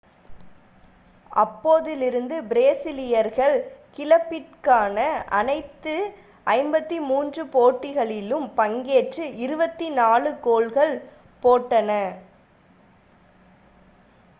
அப்போதிலிருந்து பிரேசீலியர்கள் கிளப்பிற்கான அனைத்து 53 போட்டிகளிலும் பங்கேற்று 24 கோல்கள் போட்டனர்